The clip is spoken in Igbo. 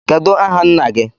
Kedụ aha nna gị?